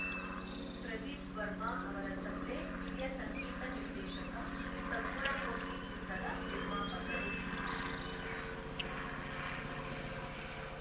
ಪ್ರದೀಪ್‌ ವರ್ಮ ಅವರ ತಂದೆ ಹಿರಿಯ ಸಂಗೀತ ನಿರ್ದೇಶಕ ಸದ್ಗುಣಮೂರ್ತಿ ಚಿತ್ರದ ನಿರ್ಮಾಪಕರು